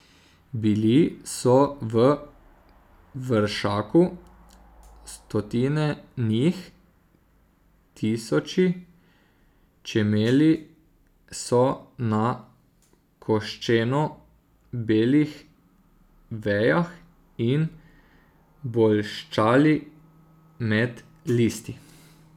Bili so v vršaku, stotine njih, tisoči, čemeli so na koščeno belih vejah in bolščali med listi.